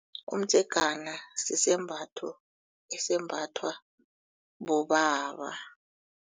Umdzegana sisembatho esembathwa bobaba.